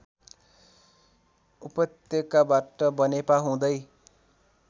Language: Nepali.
उपत्यकाबाट बनेपा हुँदै